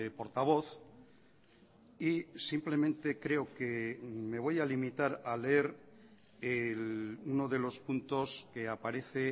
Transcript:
portavoz y simplemente creo que me voy a limitar a leer uno de los puntos que aparece